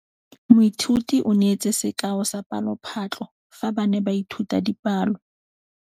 Moithuti o neetse sekaô sa palophatlo fa ba ne ba ithuta dipalo.